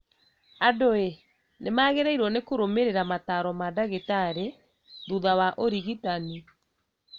Andũĩ nĩmagĩrĩirwo nĩ kũrũmĩrĩra mataro ma ndagĩtarĩ thutha wa ũrigitani